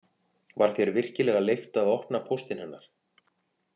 Var þér virkilega leyft að opna póstinn hennar